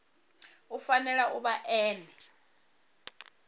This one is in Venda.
u fanela u vha ene